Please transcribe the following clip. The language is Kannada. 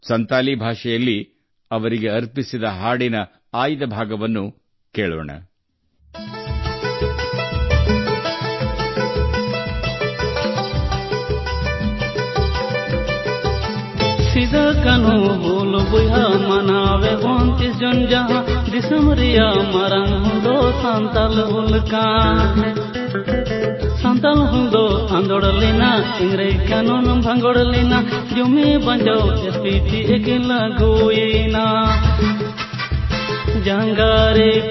ಸಂತಾಲಿ ಭಾಷೆಯಲ್ಲಿ ಅವರಿಗೆ ಸಮರ್ಪಿತವಾದ ಹಾಡಿನ ಆಯ್ದ ಭಾಗವನ್ನು ನಾವು ಕೇಳೋಣ -